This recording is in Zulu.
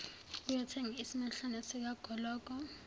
ukuyothenga isimehlana sikagologo